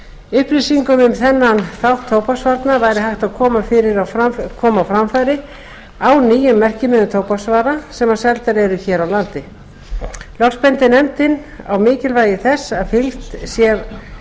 upplýsingum um þennan þátt tóbaksvarna væri hægt að koma á framfæri á nýjum merkimiðum tóbaksvara sem seldar eru hér á landi loks bendir nefndin á mikilvægi þess að